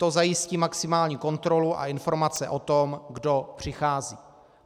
To zajistí maximální kontrolu a informace o tom, kdo přichází.